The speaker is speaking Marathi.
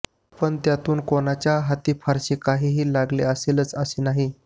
पण त्यातून कुणाच्याही हाती फारसे काही लागले असेलच असे नाही